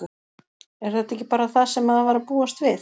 Er þetta ekki bara það sem maður var að búast við?